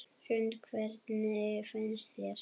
Hrund: Hvernig finnst þér?